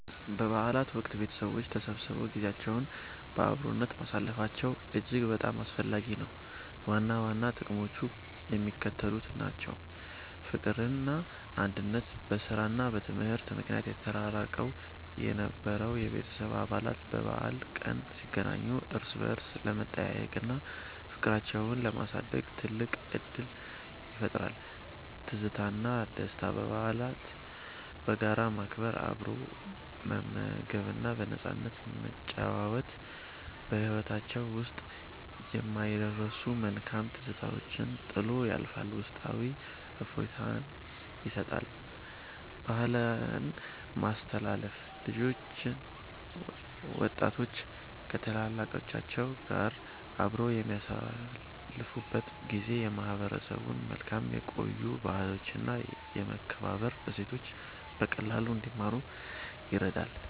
በበዓላት ወቅት ቤተሰቦች ተሰብስበው ጊዜያቸውን በአብሮነት ማሳለፋቸው እጅግ በጣም አስፈላጊ ነው። ዋና ዋና ጥቅሞቹ የሚከተሉት ናቸው፦ ፍቅርና አንድነት፦ በሥራና በትምህርት ምክንያት ተራርቀው የነበሩ የቤተሰብ አባላት በበዓል ቀን ሲገናኙ እርስ በርስ ለመጠያየቅና ፍቅራቸውን ለማደስ ትልቅ ዕድል ይፈጥራል። ትዝታና ደስታ፦ በዓላትን በጋራ ማክበር፣ አብሮ መመገብና በነፃነት መጨዋወት በሕይወታችን ውስጥ የማይረሱ መልካም ትዝታዎችን ጥሎ ያልፋል፤ ውስጣዊ እፎይታም ይሰጣል። ባህልን ማስተላለፍ፦ ልጆችና ወጣቶች ከታላላቆች ጋር አብረው በሚያሳልፉበት ጊዜ የማህበረሰቡን መልካም የቆዩ ባህሎችና የመከባበር እሴቶች በቀላሉ እንዲማሩ ይረዳል።